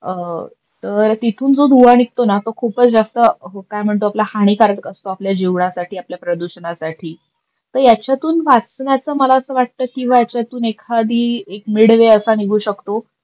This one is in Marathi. तर तिथून जो धुवा निगतोना तो खूपच जास्त कायम्हणतो आपला हानिकारक असतो आपल्या जिवासाठी आपल्या प्रदूषणासठी. तर याच्यातून वाचण्याच मला अस वाटत किंवा याच्यातून एखाडी एक मिडवे असा निगु शकतो.